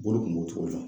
Bolo kun b'o cogo la